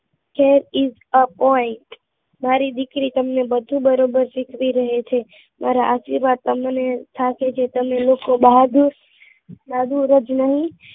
that is the point મારી દીકરી તમને બધું બરોબર શીખવી રહી છે મારા આશીર્વાદ તમને થશે કે બહાદુર જ નહીં